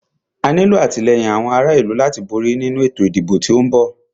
A nílo àtìlẹ́yìn àwọn ará ìlú láti borí nínu ètò ìdìbò tí o ń bọ̀.